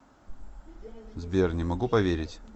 сбер не могу поверить